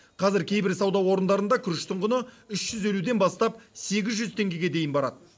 қазір кейбір сауда орындарында күріштің құны үш жүз елуден бастап сегіз жүз теңгеге дейін барады